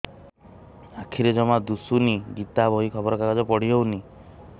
ଆଖିରେ ଜମା ଦୁଶୁନି ଗୀତା ବହି ଖବର କାଗଜ ପଢି ହଉନି